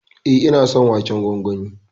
E, ina son waken gwangwani.